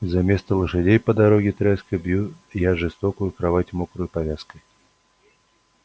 и заместо лошадей по дороге тряской бью я жестокую кровать мокрою повязкой